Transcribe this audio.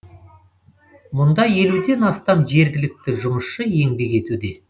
мұнда елуден астам жергілікті жұмысшы еңбек етуде